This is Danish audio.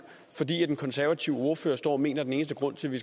fordi den konservative ordfører står og mener at den eneste grund til at vi